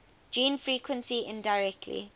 gene frequency indirectly